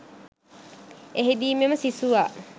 එහිදී මෙම සිසුවා